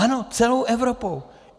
Ano, celou Evropou.